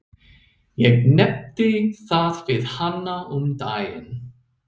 Ég nefndi það við hana um daginn.